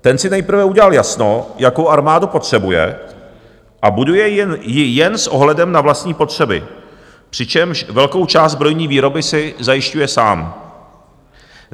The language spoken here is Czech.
Ten si nejprve udělal jasno, jakou armádu potřebuje, a buduje ji jen s ohledem na vlastní potřeby, přičemž velkou část zbrojní výroby si zajišťuje sám.